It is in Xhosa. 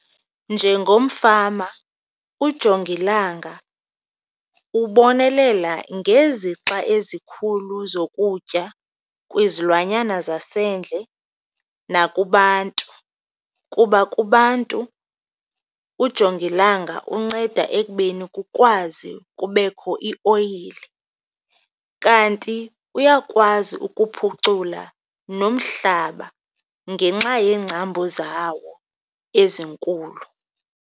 Njengomfama ujongilanga ubonelela ngezixa ezikhulu zokutya kwizilwanyana zasendle nakubantu kuba kubantu ujongilanga unceda ekubeni kukwazi kubekho ioyile, kanti uyakwazi ukuphucula nomhlaba ngenxa yeengcambu zawo ezinkulu.